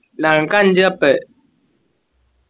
ഞങ്ങക്ക് അഞ്ചു cup